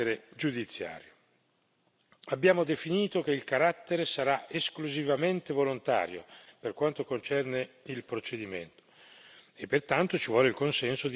Abbiamo definito che il carattere sarà esclusivamente volontario per quanto concerne il procedimento e, pertanto, ci vuole il consenso di entrambi i contraenti.